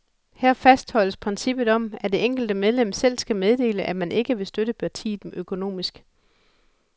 Her fastholdes princippet om, at det enkelte medlem selv skal meddele, at man ikke vil støtte partiet økonomisk.